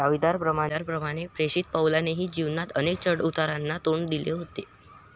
दाविदाप्रमाणे प्रेषित पौलानेही जीवनात अनेक चढउतारांना तोंड दिले होते.